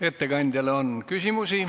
Ettekandjale on küsimusi.